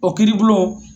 O kiiribulon